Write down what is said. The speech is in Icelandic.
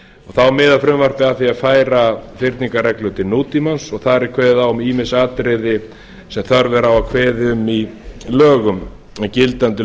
þá miðar frumvarpið að því að færa fyrningarreglur til nútímans og þar er kveðið á um ýmis atriði sem þörf er að kveða á um í lögum en gildandi lög